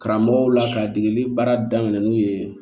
Karamɔgɔw la ka degeli baara daminɛ n'u ye